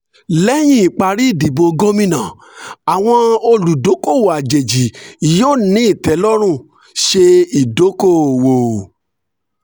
lẹ́yìn ìparí ìdìbò gómìnà àwọn olùdókòwò àjèjì yóò ní ìtẹ́lọ́rùn ṣe idoko-owo.